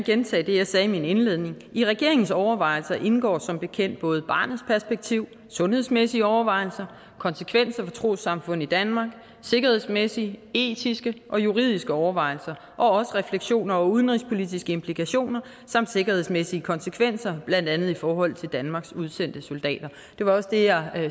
gentage det jeg sagde i min indledning i regeringens overvejelser indgår som bekendt både barnets perspektiv sundhedsmæssige overvejelser konsekvenser for trossamfund i danmark sikkerhedsmæssige etiske og juridiske overvejelser og også refleksioner over udenrigspolitiske implikationer samt sikkerhedsmæssige konsekvenser blandt andet i forhold til danmarks udsendte soldater det var også det jeg